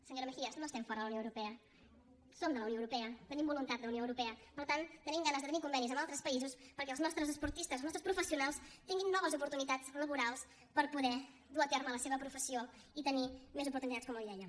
senyora mejías no estem fora de la unió europea som de la unió europea tenim voluntat d’unió europea per tant tenim ganes de tenir convenis amb altres països perquè els nostres esportistes els nostres professionals tinguin noves oportunitats laborals per poder dur a terme la seva professió i tenir més oportunitats com li deia